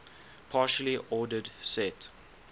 partially ordered set